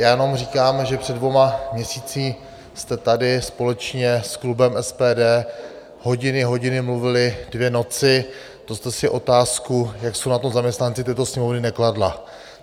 Já jenom říkám, že před dvěma měsíci jste tady společně s klubem SPD hodiny, hodiny mluvili dvě noci, to jste si otázku, jak jsou na tom zaměstnanci této Sněmovny, nekladla.